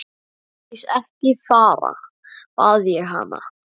Ásdís, ekki fara, bað ég hana.